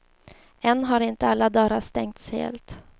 Än har inte alla dörrar stängts helt.